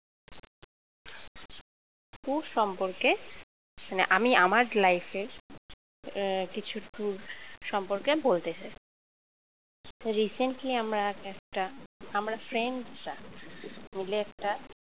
tour সম্পর্কে মানে আমি আমার life এর কিছু tour সম্পর্কে আমি বলতে চাই recently আমার একটা আমরা friend রা মিলে একটা